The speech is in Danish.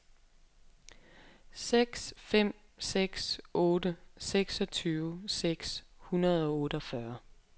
seks fem seks otte seksogtyve seks hundrede og otteogfyrre